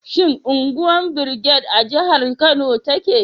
Shin unguwar Brigade a jihar Kano take?